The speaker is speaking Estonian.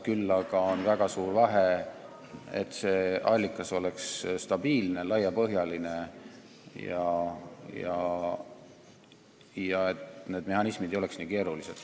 Küll aga on väga suur vahe selles mõttes, et see allikas peaks olema stabiilne ja laiapõhjaline ning need mehhanismid ei tohiks olla nii keerulised.